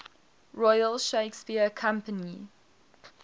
royal shakespeare company